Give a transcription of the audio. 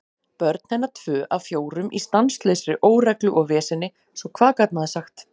Börn hennar tvö af fjórum í stanslausri óreglu og veseni, svo hvað gat maður sagt?